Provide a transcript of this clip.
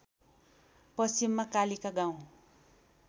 पश्चिममा कालिका गाउँ